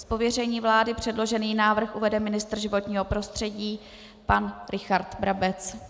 Z pověření vlády předložený návrh uvede ministr životního prostředí pan Richard Brabec.